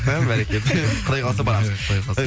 і бәрекелді құдай қаласа барамыз